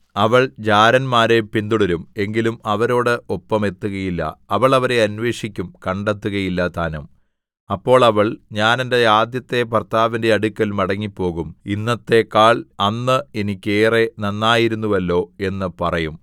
അവൾ ജാരന്മാരെ പിന്തുടരും എങ്കിലും അവരോട് ഒപ്പം എത്തുകയില്ല അവൾ അവരെ അന്വേഷിക്കും കണ്ടെത്തുകയില്ലതാനും അപ്പോൾ അവൾ ഞാൻ എന്റെ ആദ്യത്തെ ഭർത്താവിന്റെ അടുക്കൽ മടങ്ങിപ്പോകും ഇന്നത്തേക്കാൾ അന്ന് എനിക്ക് ഏറെ നന്നായിരുന്നുവല്ലോ എന്ന് പറയും